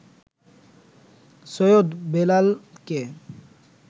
সৈয়দ বেলালকে